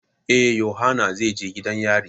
Eh, yohana zai je gidan yari.